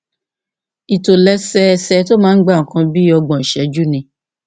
ìtòlẹsẹẹsẹ tó máa ń gba nǹkan bí ọgbọn ìṣẹjú ni